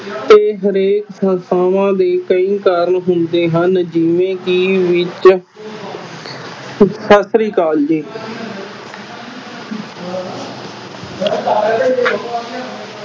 ਤੇ ਹਰੇਕ ਸੰਸਥਾਵਾਂ ਦੇ ਕਈ ਕਾਰਨ ਹੁੰਦੇ ਹਨ ਜਿਵੇ ਕੇ ਸਤਿ ਸ਼੍ਰੀ ਅਕਾਲ ਜੀ